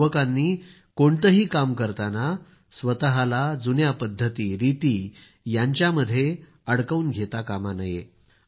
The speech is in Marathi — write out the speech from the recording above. युवकांनी कोणतंही काम करताना स्वतःला जुन्या पद्धती रिती यांच्यामध्ये स्वतःला अडकवून घेता कामा नये